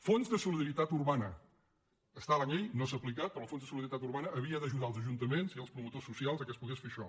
fons de solidaritat urbana està a la llei no s’ha aplicat però el fons de solidaritat urbana havia d’ajudar els ajuntaments i els promotors socials que es pogués fer això